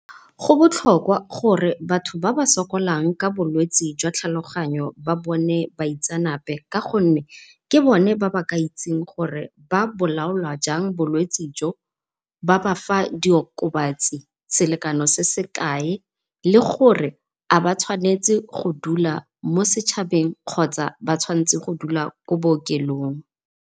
Go botlhokwa gore batho ba ba sokolang ka bolwetse jwa tlhaloganyo ba bone baitsanape, ka gonne ke bone ba ba ka itsng gore ba bolaola jang bolwetsi jo, ba bafa di okobatsi selekano se se kae le gore a ba tshwanetse go dula mo setšhabeng kgotsa ba tshwantse go dula kwa bookelong.